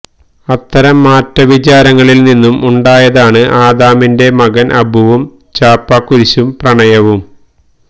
അത്തരം മാറ്റ വിചാരങ്ങളില്നിന്നും ഉണ്ടായതാണ് ആദാമിന്റെ മകന് അബുവും ചാപ്പാകുരിശും പ്രണയവും